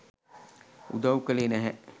උදව් කළේ නැහැ.